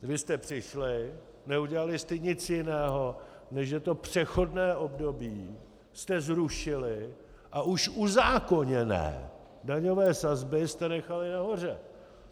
Vy jste přišli, neudělali jste nic jiného, než že to přechodné období jste zrušili a už uzákoněné daňové sazby jste nechali nahoře.